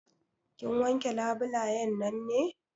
Kin wanke labulayen nan ne?